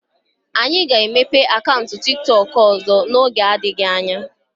Anyị ga-emepe akaụntụ tiktok ọzọ n'oge adịghị anya.